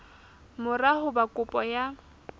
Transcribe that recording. mora ho ba kopo ya